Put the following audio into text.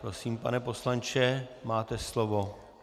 Prosím, pane poslanče, máte slovo.